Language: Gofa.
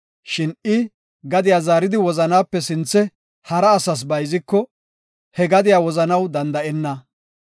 Shin I gadiya zaaridi wozanaape sinthe hara asas bayziko, he gadiya wozanaw danda7enna.